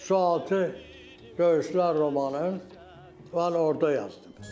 Sualtı döyüşlər romanın mən orda yazdım.